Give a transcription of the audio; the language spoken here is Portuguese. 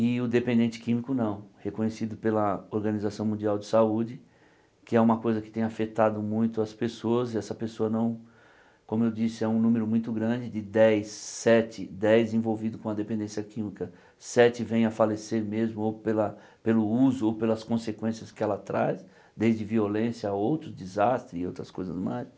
E o dependente químico não, reconhecido pela Organização Mundial de Saúde, que é uma coisa que tem afetado muito as pessoas, e essa pessoa não, como eu disse, é um número muito grande, de dez, sete, dez envolvidos com a dependência química, sete vem a falecer mesmo, ou pela pelo uso, ou pelas consequências que ela traz, desde violência a outro desastre e outras coisas mais.